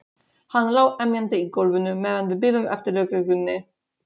Hann lá emjandi í gólfinu meðan við biðum eftir lögreglunni.